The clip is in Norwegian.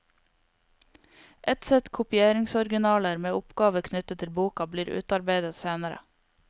Et sett kopieringsoriginaler med oppgaver knyttet til boka blir utarbeidet senere.